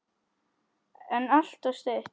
En alltof stutt.